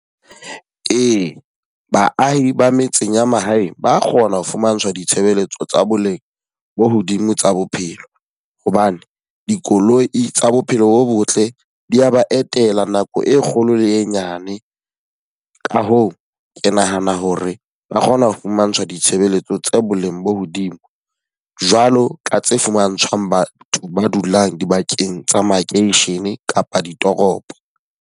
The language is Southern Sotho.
Ee, baahi ba metseng ya mahaeng ba kgona ho fumantshwa ditshebeletso tsa boleng bo hodimo tsa bophelo. Hobane dikoloi tsa bophelo bo botle di ya ba etela nako e kgolo le e nyane. Ka hoo, ke nahana hore ba kgona ho fumantshwa ditshebeletso tsa boleng bo hodimo, jwalo ka tse fumantshwang batho ba dulang dibakeng tsa makeishene kapa ditoropo.